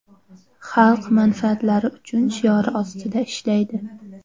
Xalq manfaatlari uchun” shiori ostida ishlaydi.